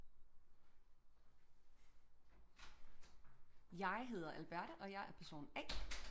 Jeg hedder Alberte og jeg er person A